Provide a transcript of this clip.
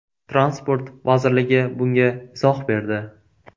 Transport vazirligi bunga izoh berdi.